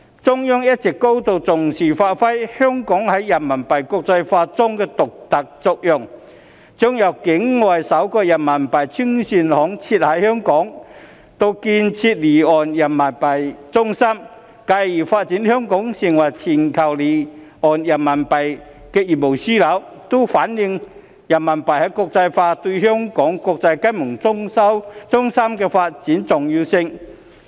中央一直高度重視發揮香港在人民幣國際化中的獨特作用，將境外首個人民幣清算行設於香港，以至建設離岸人民幣中心，繼而發展香港成為全球離岸人民幣業務樞紐，均反映人民幣國際化對香港國際金融中心發展的重要性。